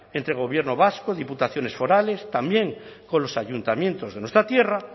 entre gobierno vasco diputaciones forales también con los ayuntamientos de nuestra tierra